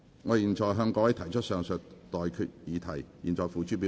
我現在向各位提出上述待決議題，付諸表決。